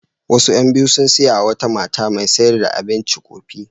Wasu ƴan biyu sun yi wa wata mata mai sayar da abinci ƙofi.